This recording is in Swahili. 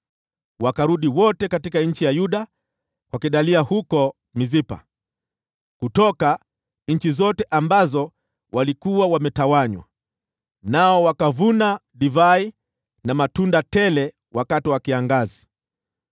wakarudi wote katika nchi ya Yuda kwa Gedalia huko Mispa, kutoka nchi zote ambazo walikuwa wametawanywa. Nao wakavuna divai na matunda tele wakati wa kiangazi.